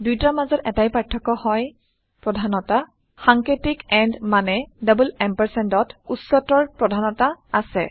দুইটাৰ মাজত এটাই পাৰ্থক্য হয় - প্ৰধানতা সাঙ্কেতিক এণ্ড মানে ampampৰ উচ্চতৰ প্ৰধানতা আছে